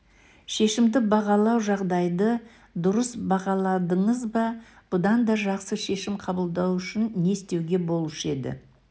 шешімді бағалау жағдайды дұрыс бағаладыңыз ба бұдан да жақсы шешім қабылдау үшін не істеуге болушы еді